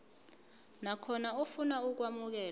nakhona ofuna ukwamukelwa